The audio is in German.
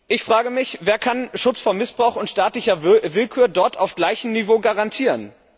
Ich frage mich, wer kann Schutz vor Missbrauch und staatlicher Willkür dort auf gleichem Niveau garantieren?